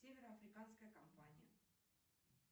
североафриканская компания